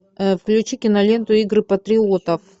включи киноленту игры патриотов